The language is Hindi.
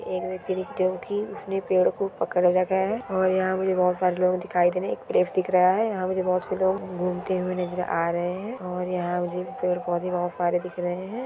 एक व्यक्ति ने जो कि उसने पेड़ को पकड़ रखा है और यहां मुझे बोहोत सारे लोग दिखाई दे रहे हैं एक प्रेस दिख रहा है यहां मुझे बोहोत से लोग घूमते हुए नजर आ रहे हैं और यहां मुझे पेड़-पौधे बहोत सारे दिख रहे हैं।